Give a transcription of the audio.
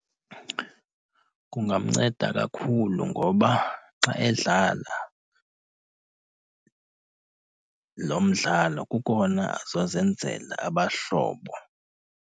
Kungamnceda kakhulu ngoba xa edlala lo mdlalo kukona azozenzela abahlobo.